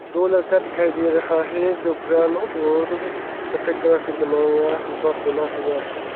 दो लड़का दिखाई दे रहा है जो ब्राउन और सफेद कलर से बनाया हुआ पहना हुआ है।